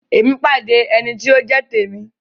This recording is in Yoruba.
Emi pàdé ẹní ti o jẹ t'emi.